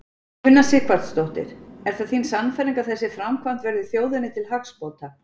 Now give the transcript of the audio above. Una Sighvatsdóttir: Er það þín sannfæring að þessi framkvæmd verði þjóðinni til hagsbóta?